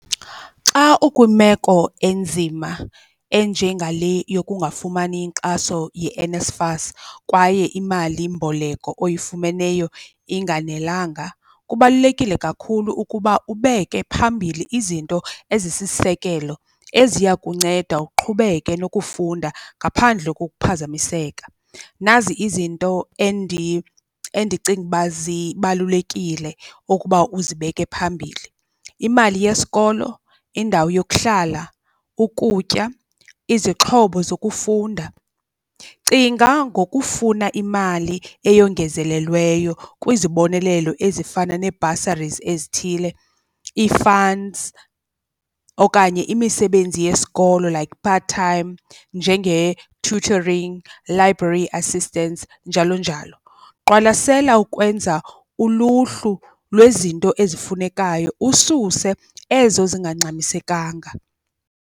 Xa ukwimeko enzima enjengale yokungafumani inkxaso yeNSFAS kwaye imalimboleko oyifumeneyo inganelenga, kubalulekile kakhulu ukuba ubeke phambili izinto ezisisisekelo eziya kunceda uqhubeke nokufunda ngaphandle kokuphazamiseka. Nazi izinto endicinga uba zibalulekile ukuba uzibeke phambili, imali yesikolo, indawo yokuhlala, ukutya, izixhobo zokufunda. Cinga ngokufuna imali eyongezelelweyo kwizibonelelo ezifana nee-bursaries ezithile, ii-funds okanye imisebenzi yesikolo like part-time njenge-tutoring, library assistance njalo njalo. Qwalasela ukwenza uluhlu lwezinto ezifunekayo ususe ezo zingangxamisekanga.